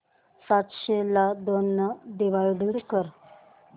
सातशे ला दोन ने डिवाइड कर